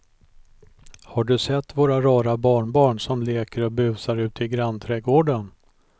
Har du sett våra rara barnbarn som leker och busar ute i grannträdgården!